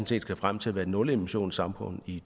set skal frem til at være et nulemissionssamfund i